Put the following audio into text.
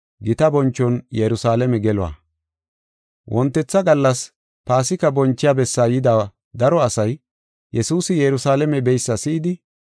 Wontetha gallas Paasika bonchiya bessaa yida daro asay Yesuusi Yerusalaame beysa si7idi,